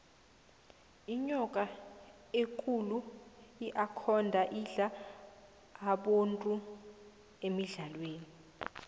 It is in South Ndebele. inyoka ekulu iakhonda indla abontu emidlalweni